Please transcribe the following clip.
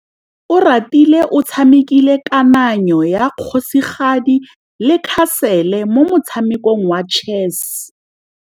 Oratile o tshamekile kananyô ya kgosigadi le khasêlê mo motshamekong wa chess.